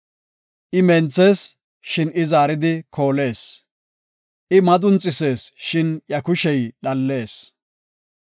I menthees, shin zaaridi koolees; I madunxisees, shin iya kushey dhallees.